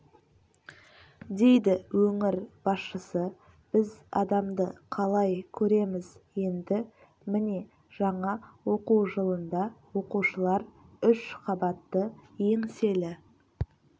дейді өңір басшысы біз адамды қалай көреміз енді міне жаңа оқу жылында оқушылар үш қабатты еңселі